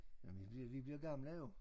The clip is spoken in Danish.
Jamen vi bliver vi bliver gamle jo